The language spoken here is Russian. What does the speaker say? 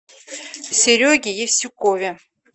сереге евсюкове